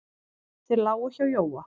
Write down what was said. Þeir lágu hjá Jóa.